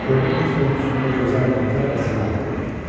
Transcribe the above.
Gördüm ki, stolun üstündə gözəl paltar və silah qoyulub.